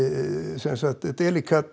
sem sagt